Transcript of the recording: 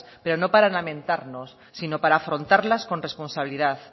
pero no para lamentarnos sino para afrontarlas con responsabilidad